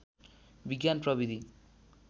विज्ञान प्रविधि